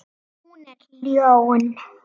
Hún er ljón.